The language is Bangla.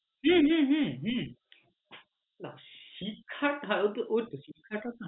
হম হম